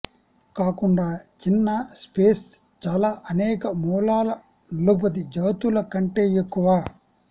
కాకుండా చిన్న స్పేస్ చాలా అనేక మూలాల నలుబది జాతుల కంటే ఎక్కువ